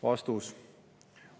" Vastus.